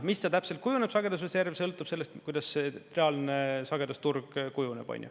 Mis ta täpselt kujuneb, sagedusreserv, sõltub sellest, kuidas see reaalne sagedusturg kujuneb.